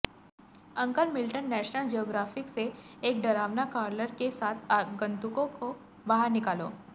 uncle Milton National Geographic से एक डरावना क्रॉलर के साथ आगंतुकों को बाहर निकालो